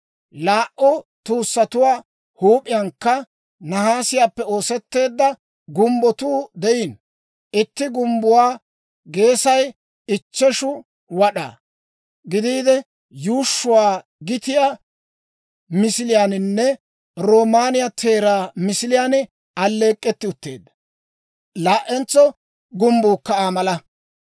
Laa"u tuussatuwaa huup'iyankka nahaasiyaappe oosetteedda gumbbotuu de'iino. Itti gumbbuwaa geesay ichcheshu wad'aa gidiide, yuushshuu gitiyaa misiliyaaninne roomaaniyaa teeraa misiliyaan alleek'k'etti utteedda. Laa"entso gumbbuukka Aa mala.